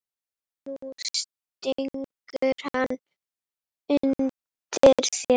Nú stingur hann undan þér!